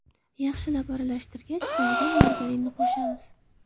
Yaxshilab aralashtirgach, sovigan margarinni ham qo‘shamiz.